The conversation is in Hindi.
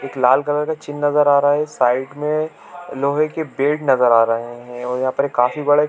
एक लाल कलर का चिन्ह नज़र आ रहा है साइड में लोहै के बेड नज़र आ रहै है और यहाँ पे एक काफी बड़े --